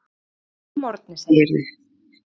Snemma að morgni segirðu.